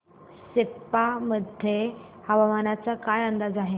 सेप्पा मध्ये हवामानाचा काय अंदाज आहे